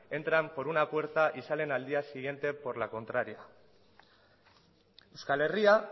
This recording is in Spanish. entran por una puerta y salen al día siguiente por la contraria euskal herria